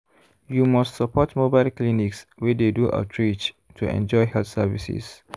you must support mobile clinics wey dey do outreach to enjoy health services.